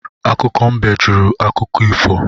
Akụkọ mbe jụrụ akụkọ ifo